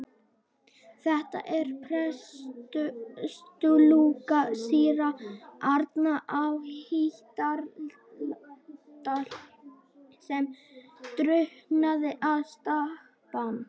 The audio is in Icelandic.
Þetta er prestslúka síra Árna í Hítardal sem drukknaði við Stapann.